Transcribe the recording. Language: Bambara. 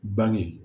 Bange